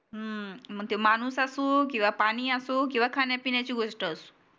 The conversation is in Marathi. हम्म मग ती माणूस असो की पानी असो किवा खान्या पिण्याची गोष्ट असो